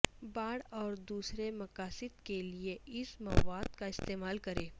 باڑ اور دوسرے مقاصد کے لئے اس مواد کا استعمال کریں